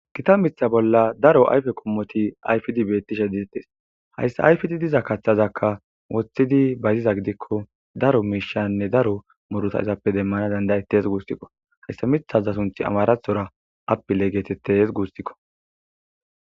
Kita mitha bolla daro ayfe kommoti ayfidi bettishe ditettes hayssa ayfdi diza kaththazakka woththidi bayziza gidikko daro miishanne daro moruta izappe demmana dandayettes guustikko hayssa mithaza sunth amarathora apile geetettes guustikko.